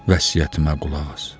Vəsiyyətimə qulaq as.